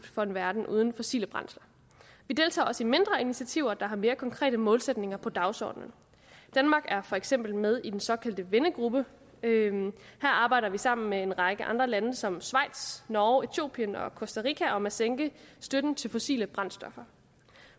for en verden uden fossile brændsler vi deltager også i mindre initiativer der har mere konkrete målsætninger på dagsordenen danmark er for eksempel med i den såkaldte vennegruppe her arbejder vi sammen med en række andre lande som schweiz norge etiopien og costa rica om at sænke støtten til fossile brændstoffer